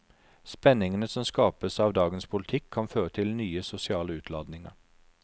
Spenningene som skapes av dagens politikk kan føre til nye sosiale utladninger.